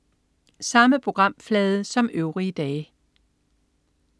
Samme programflade som øvrige dage